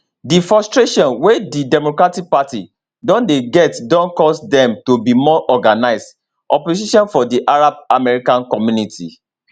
di frustration wey di democratic party don dey get don cause dem to be more organised opposition for di arab american community